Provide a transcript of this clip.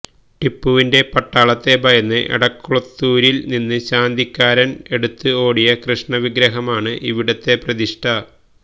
ടിപ്പുവിന്റെ പട്ടാളത്തെ ഭയന്ന് എടക്കളത്തുരിൽ നിന്ന് ശാന്തിക്കാരൻ എടുത്ത് ഓടിയ കൃഷ്ണവിഗ്രഹമാണ് ഇവിടത്തെ പ്രതിഷ്ഠ